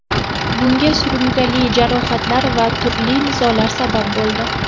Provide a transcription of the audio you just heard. Bunga surunkali jarohatlar va turli nizolar sabab bo‘ldi.